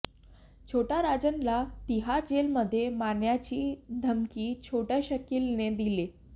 छोटा राजनला तिहार जेलमध्ये मारण्याची धकमी छोटा शकीलने दिलेय